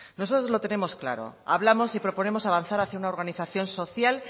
nosotros lo tenemos claro hablamos y proponemos avanzar hacia una organización social